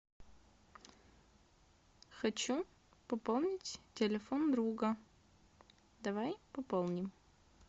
хочу пополнить телефон друга давай пополним